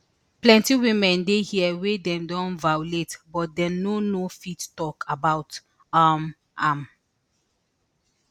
plenti women dey hia wey dem don violate but dem no no fit tok about um am